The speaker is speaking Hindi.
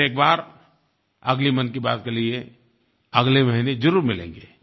फिर एक बार अगली मन की बात के लिए अगले महीने ज़रूर मिलेंगे